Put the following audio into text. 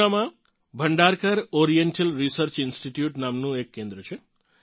પૂનામાં Bhandarkar Oriental Research Institute નામનું એક કેન્દ્ર છે